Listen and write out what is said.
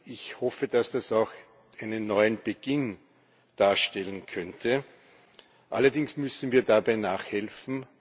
Ich hoffe, dass das auch einen neuen Beginn darstellen könnte. Allerdings müssen wir dabei nachhelfen.